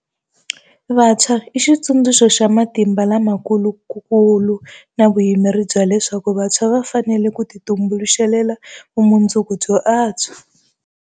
Vantshwa i xitsundzuxo xa matimba la ma kulu na vuyimeri bya leswaku vantshwa va fanele ku titumbuluxela vumu ndzuku byo antswa.